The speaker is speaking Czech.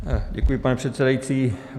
Děkuji, pane předsedající.